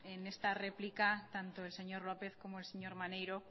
en esta réplica tanto el señor lópez como el señor maneiro